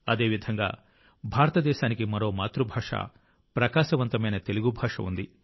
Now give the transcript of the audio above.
అదేవిధంగా భారతదేశానికి మరో మాతృభాష ప్రకాశవంతమైన తెలుగు భాష ఉంది